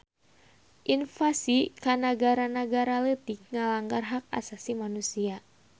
Invasi ka nagara-nagara leutik ngalanggar hak asasi manusia